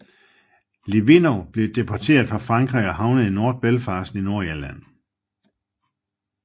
Litvinov blev deporteret fra Frankrig og havnede i North Belfast in Nordirland